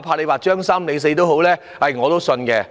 怕劃"張三"或"李四"，我都會相信。